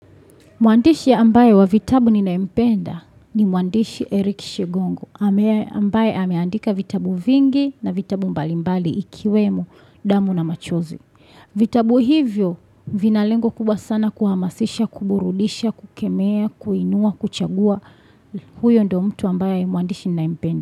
Mwandishi ambaye wa vitabu ninayempenda ni mwandishi Eric Shegongo, ambaye ameandika vitabu vingi na vitabu mbalimbali ikiwemo damu na machozi. Vitabu hivyo vinalengo kubwa sana kuhamasisha, kuburudisha, kukemea, kuinua, kuchagua huyo ndo mtu ambaye mwandishi ninayempenda.